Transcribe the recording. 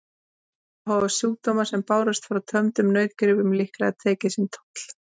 Þá hafa sjúkdómar sem bárust frá tömdum nautgripum líklega tekið sinn toll.